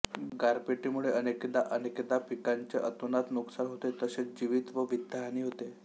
गारपिटीमुळे अनेकदा अनेकदा पिकांचे अतोनात नुकसान होते तसेच जीवित व वित्तहानी होते